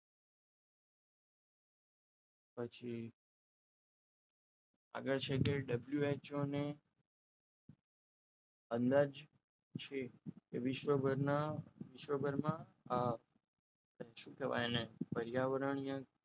પછી આગળ છે કે WHO ઓને અંદાજિત અંદાજ છે કે વિશ્વ પરના વિશ્વભરમાં આ શું કહેવાય એને પર્યાવરણીય